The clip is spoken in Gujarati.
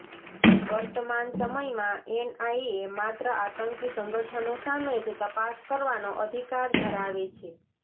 વર્તમાન સમયમાં એનઆઈએ માત્ર આતંકી સંગઠનો સામે જ તપાસ કરવાનો અધિકાર ધરાવે છે